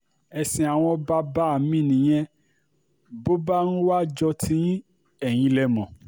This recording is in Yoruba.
ẹ̀sìn àwọn bàbá um mi nìyẹn bó bá um wàá jó tiyín eyín lẹ mọ́